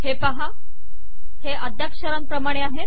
हे पाहा हे अद्याक्षराणप्रमाणे आहेत